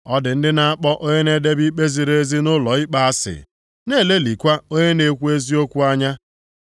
Ọ dị ndị na-akpọ onye na-edebe ikpe ziri ezi nʼụlọikpe asị, na-elelịkwa onye na-ekwu eziokwu anya.